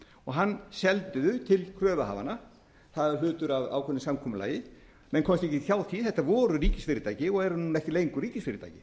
og það seldi þá til kröfuhafanna það er hlutur af ákveðnu samkomulagi menn komust ekkert hjá því þetta voru ríkisfyrirtæki og eru núna ekki lengur ríkisfyrirtæki